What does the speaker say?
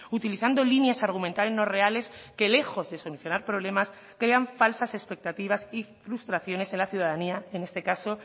utilizando líneas argumentales no reales que lejos de solucionar problemas crean falsas expectativas y frustraciones en la ciudadanía en este caso